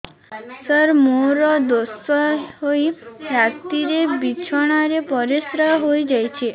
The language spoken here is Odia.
ସାର ମୋର ଦୋଷ ହୋଇ ରାତିରେ ବିଛଣାରେ ପରିସ୍ରା ହୋଇ ଯାଉଛି